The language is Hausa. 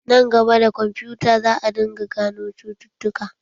Nan gaba, da kwamfuta za a dinga gano cututtuka.